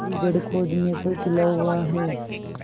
मेरी जड़ खोदने पर तुला हुआ है